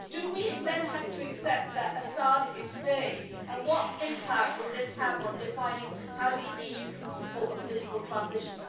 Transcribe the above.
Do we then have to accept that Assad is staying, and what impact will this have on defining how the EU can support a political transition?